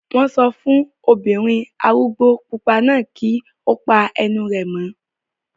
Wọ́n sọ fún obìnrin arúgbó pupa náà kí ó pa ẹnu rẹ̀ mọ́